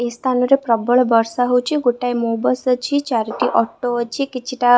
ଏହି ସ୍ଥାନରେ ପ୍ରବଳ ବର୍ଷା ହଉଚି ଗୋଟାଏ ମୋ ବସ ଅଛି ଚାରୋଟି ଅଟୋ ଅଛି କିଛି ଟା --